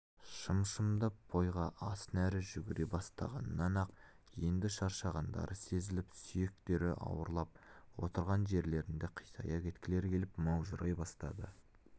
шым-шымдап бойға ас нәрі жүгіре бастағаннан-ақ енді шаршағандары сезіліп сүйектері ауырлап отырған жерлерінде қисая кеткілері келіп маужырай бастады